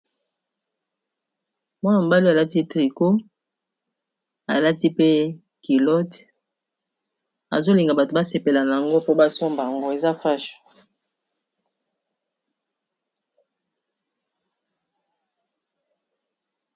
Mwana mobali alati tricot alati pe kilote azolinga bato basepela na yango po basomba yango eza fashe.